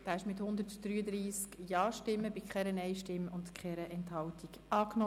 Sie haben den Antrag von SiK und Regierungsrat mit 133 Ja- gegen 0 Nein-Stimmen bei 0 Enthaltungen angenommen.